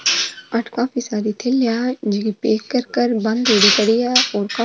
और काफी सारी थैलियां है जीकी पैक कर बन्देड़ी पड़ी है और --